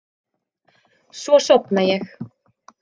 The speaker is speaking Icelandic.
Svo sofna ég.